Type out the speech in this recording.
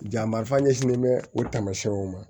Jan marifa ɲɛsinnen bɛ o tamasiyɛnw ma